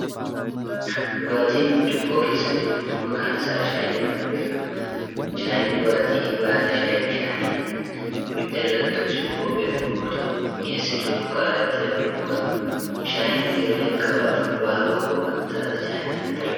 Dhugaatiin burcuqqoo keessa jiru kun, maqaan isaa shaayii jedhamuun beekama. Shaayiin dhugaatii baala shaayii bishaaniin ibidda irratti ho'isuun qopheeffamu yoo ta'u, mi'eessituu sukkaaraa itti dabaluun dhugama. Shaayiin, yeroo jalqabaaf baha fagoo kan taate chaayinaatti argame.